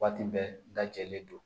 Waati bɛɛ dajɛlen don